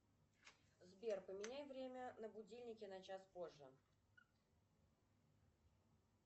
сбер поменяй время на будильнике на час позже